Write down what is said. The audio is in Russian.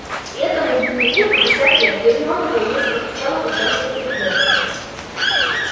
и этому дневнику пятьдесят лет гермиона волнуясь постучала по чёрному переплёту